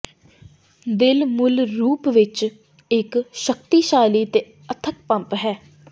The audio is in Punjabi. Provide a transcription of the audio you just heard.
ਦਿਲ ਮੂਲ ਰੂਪ ਵਿਚ ਇਕ ਸ਼ਕਤੀਸ਼ਾਲੀ ਤੇ ਅਥੱਕ ਪੰਪ ਹੈ